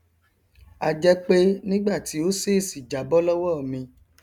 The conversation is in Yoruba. a jẹ pé nígbà tí ó ṣèṣì jábọ lọwọ mi